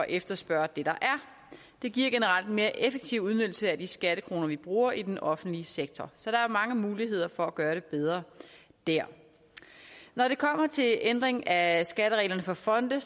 efterspørge det der er det giver generelt en mere effektiv udnyttelse af de skattekroner vi bruger i den offentlige sektor så der er mange muligheder for at gøre det bedre der når det kommer til ændring af skattereglerne for fonde er